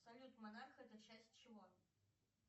салют монарх это часть чего